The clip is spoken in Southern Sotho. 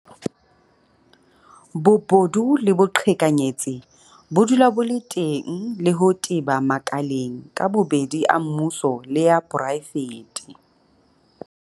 Bobodu le boqhekanyetsi bo dula bo le teng le ho teba makaleng ka bobedi a mmuso le a poraefete.